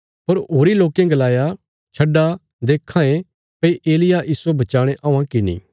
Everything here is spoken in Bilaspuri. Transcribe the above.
पर होरीं लोकें गलाया छड्डा देखां ये भई एलिय्याह इस्सो बचाणे औआं कि नीं